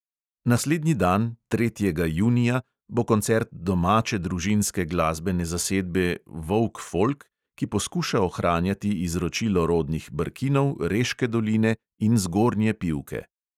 Naslednji dan, tretjega junija, bo koncert domače družinske glasbene zasedbe volk folk, ki poskuša ohranjati izročilo rodnih brkinov, reške doline in zgornje pivke.